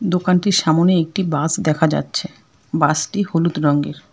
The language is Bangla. দোকানটির সামোনে একটি বাস দেখা যাচ্ছে বাসটি হলুদ রঙ্গের ।